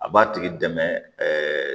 A b'a tigi dɛmɛ